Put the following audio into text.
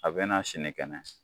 A bɛ na sini kɛnɛ.